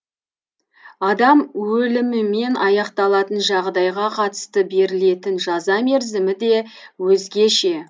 адам өлімімен аяқталатын жағдайға қатысты берілетін жаза мерзімі де өзгеше